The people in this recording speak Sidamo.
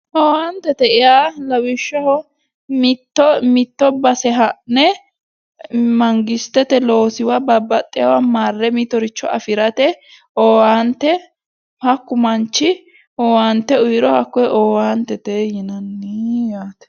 Owaantete yaa lawishshaho mitto mitto base ha'ne mangistete loosiwa babbaxxeyowa marre mittoricho afirate owaante hakku manchi owaante uyiro hakkoye owaantete yinanni yaate.